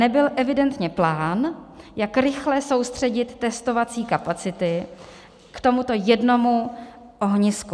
Nebyl evidentně plán, jak rychle soustředit testovací kapacity k tomuto jednomu ohnisku.